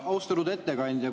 Austatud ettekandja!